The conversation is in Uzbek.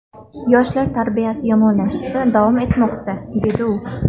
Yoshlar tarbiyasi yomonlashishda davom etmoqda”, dedi u.